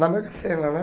Na Mega Sena, né?